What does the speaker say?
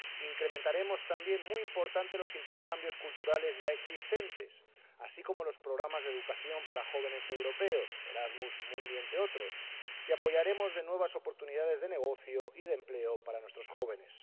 Incrementaremos también —muy importante— los intercambios culturales ya existentes, así como los programas de educación para jóvenes europeos —Erasmus Mundus, entre otros—, y apoyaremos nuevas oportunidades de negocio y de empleo para nuestros jóvenes.